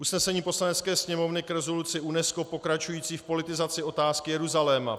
"Usnesení Poslanecké sněmovny k rezoluci UNESCO pokračující v politizaci otázky Jeruzaléma.